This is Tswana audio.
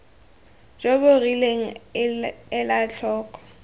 jo bo rileng ela tlhoko